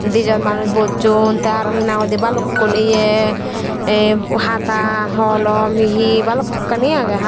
di jon manus boson te hena hoidey balokun ye ye hada holam he balokani agey.